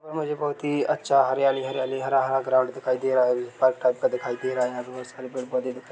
बहुत ही अच्छा हरियाली हरियाली हरा हरा ग्राउंड दिखाई दे रहा पार्क टाइप का दिखाई दे रहा है। यहां बोहत सारे पेड़ पौधे दिखाई--